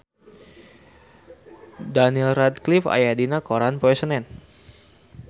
Daniel Radcliffe aya dina koran poe Senen